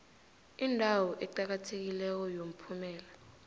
indawo eqakathekileko yomphumela